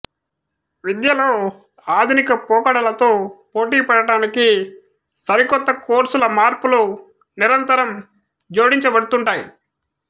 విద్యలో ఆధునిక పోకడలతో పోటీ పడటానికి సరికొత్త కోర్సులు మార్పుల నిరంతరం జోడించబడ్తుంటాయి